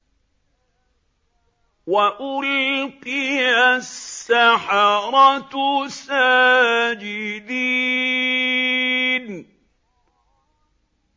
وَأُلْقِيَ السَّحَرَةُ سَاجِدِينَ